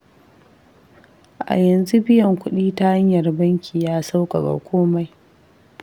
A yanzu biyan kuɗi ta hanyar banki ya sauƙaƙa komai.